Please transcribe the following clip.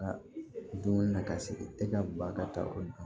dumuni na ka se e ka ba ka taa o dɔn